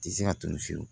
Tɛ se ka tunun fiyewu